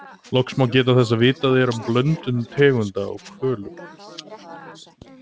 Loks má geta þess að vitað er um blöndun tegunda hjá hvölum.